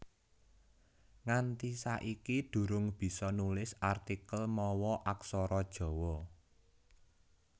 Nganti saiki durung bisa nulis artikel mawa Aksara Jawa